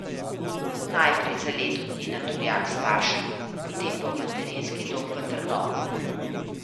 Najprej za leto dni na Turjak k staršem, potem pa v materinski dom v Trnovo.